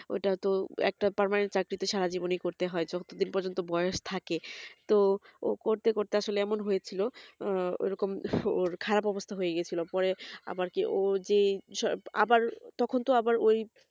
ওটা তো একটা permanent চাকরিতে সারা জীবনই করতে হয় যত দিন পর্যন্ত বয়স থাকে তো ও করতে করতে আসলে এমন হয়েছিল এরকম ওর খারাপ অবস্থা হয়েগিছিল পরে আবারকি ও যেসৱ আবার তখন তো আবার ওই